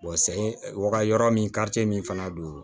sɛ waga yɔrɔ min min fana don